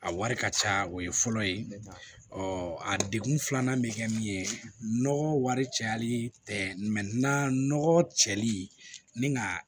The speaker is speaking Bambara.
A wari ka ca o ye fɔlɔ ye ɔ a degun filanan bɛ kɛ min ye nɔgɔ wari cayali tɛ na nɔgɔ cɛli ni nka